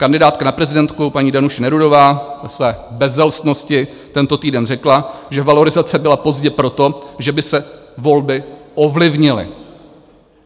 Kandidátka na prezidentku paní Danuše Nerudová ve své bezelstnosti tento týden řekla, že valorizace byla pozdě proto, že by se volby ovlivnily.